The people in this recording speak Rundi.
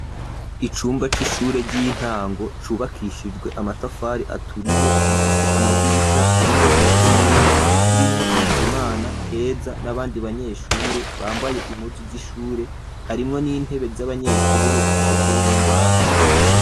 Icumba c'ishure ry'intango cubakishijwe amatafari aturiye gifise amadirisha arimwo umuco mwinshi, kirimwo Bizimana, Keza n'abandi banyeshure bambaye impuzu z'ishure, harimwo n'intebe z'abanyeshure zikozwe mumbaho.